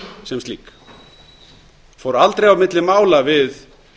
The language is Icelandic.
sem slík fór aldrei á milli mála við